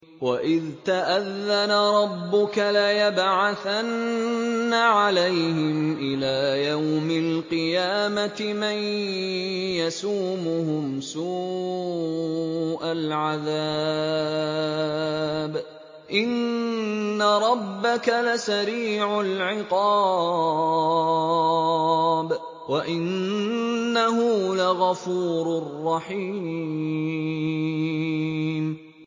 وَإِذْ تَأَذَّنَ رَبُّكَ لَيَبْعَثَنَّ عَلَيْهِمْ إِلَىٰ يَوْمِ الْقِيَامَةِ مَن يَسُومُهُمْ سُوءَ الْعَذَابِ ۗ إِنَّ رَبَّكَ لَسَرِيعُ الْعِقَابِ ۖ وَإِنَّهُ لَغَفُورٌ رَّحِيمٌ